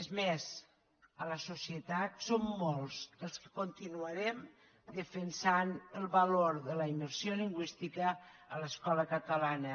és més a la societat som molts els que continuarem defensant el valor de la immersió lingüística a l’escola catalana